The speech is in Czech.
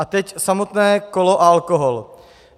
A teď samotné kolo a alkohol.